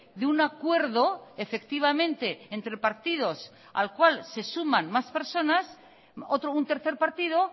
de un acuerdo efectivamente entre partidos al cual se suman más personas otro un tercer partido